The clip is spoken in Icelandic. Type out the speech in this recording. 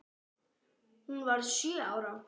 Hún varð sjö ára.